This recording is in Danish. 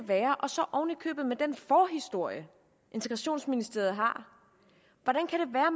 være og så oven i købet med den forhistorie integrationsministeriet har